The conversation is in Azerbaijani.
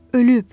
Ölüb.